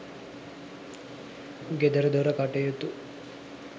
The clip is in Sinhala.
ගෙදරදොර කටයුතු